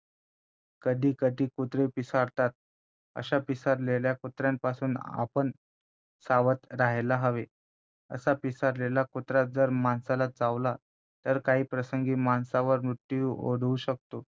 कधी कधी कुत्रे पिसाळतात अशा पिसाळलेल्या कुत्र्यांपासून आपण सावध राहायला हवे असा पिसाळलेला कुत्रा जर माणसाला चावला तर काही प्रसंगी माणसावर मृत्यूही ओढवू शकतो